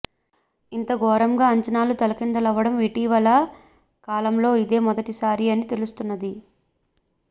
ఇంత ఘోరంగా అంచనాలు తలకిందులవ్వడం ఇటీవలి కాలంలో ఇదే మొదటిసారి అని తెలుస్తున్నది